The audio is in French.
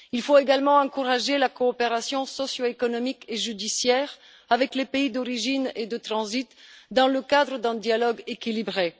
Il faut également encourager la coopération socio économique et judiciaire avec les pays d'origine et de transit, dans le cadre d'un dialogue équilibré.